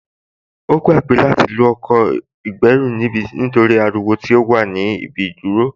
Ó gbàgbé láti lo ọkọ̀ ìgbẹ́rù nítorí ariwo tó wà ní ibi ìdúró